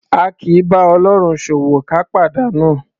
A kì í bá Ọlọ́run ṣòwò ká pàdánù. /